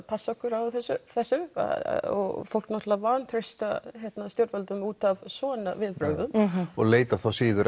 passa okkur á þessu og fólk náttúrulega vantreystir stjórnvöldum út af svona viðbrögðum og leitar þá síður